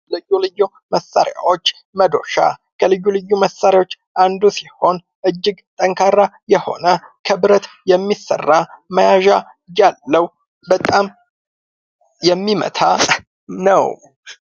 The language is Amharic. ልዩ ልዩ መሳሪያዎች መዶሻ፡- ከልዩ ልዩ መሳሪያዎች አንዱ ሲሆን እጅግ ጠንካራ የሆነ ከብረት የሚሰራ መያዣ ያለው በጣም የሚመታ ነው።